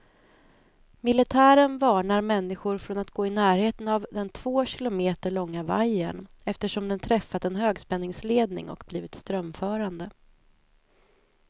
Militären varnar människor från att gå i närheten av den två kilometer långa vajern, eftersom den träffat en högspänningsledning och blivit strömförande.